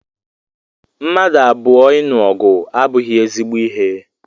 Mmadụ abụọ ịnụ ọgụ abụghị ezigbo ihe